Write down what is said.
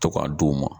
To ka d'u ma